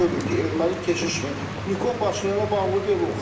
Biz onu görürük ki, erməni keşişi Nikol Paşinyana bağlı deyil.